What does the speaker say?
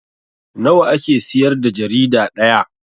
Nawa ake siyar da jarida ɗaya?